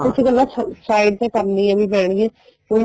ਕੁੱਝ ਗੱਲਾਂ side ਤੇ ਕਰਨੀਆਂ ਵੀ ਪੈਣ ਗਿਆ ਹੁਣ